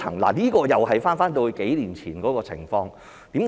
這個又是回到數年前的情況。